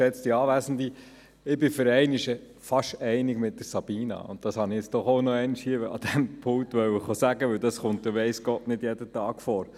Ich bin für einmal fast einig mit Sabina Geissbühler, und dies wollte ich an diesem Rednerpult noch sagen, denn es kommt weiss Gott nicht jeden Tag vor!